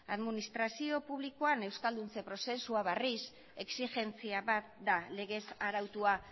administrazio publikoan euskalduntze prozesuak berriz exigentzia bat da legez arautua